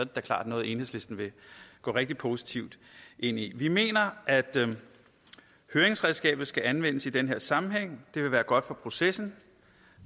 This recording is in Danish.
da klart noget enhedslisten vil gå rigtig positivt ind i vi mener at høringsredskabet skal anvendes i den her sammenhæng det vil være godt for processen